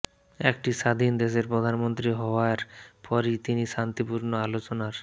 একটি স্বাধীন দেশের প্রধানমন্ত্রী হওয়ার পরই তিনি শান্তিপূর্ণ আলোচনার